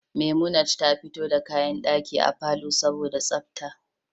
Memunant ta fito da kayan daki a palour saboda tsafta